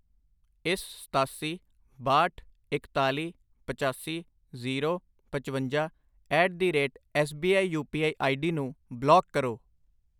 ਇਸ ਸਤਾਸੀ, ਬਾਹਠ, ਇਕਤਾਲੀ, ਪਚਾਸੀ, ਜ਼ੀਰੋ, ਪਚਵੰਜਾ at the rate S B I U P I ID ਨੂੰ ਬਲਾਕ ਕਰੋ।